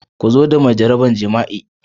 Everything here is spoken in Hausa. Ku zo da mai jaraban jima'i.